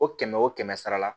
O kɛmɛ o kɛmɛ sara la